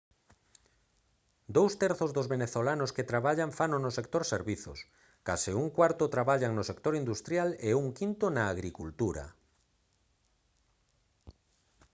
dous terzos dos venezolanos que traballan fano no sector servizos case un cuarto traballan no sector industrial e un quinto na agricultura